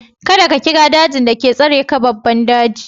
Ka da ka kira daji da ke tsare ka babban daji!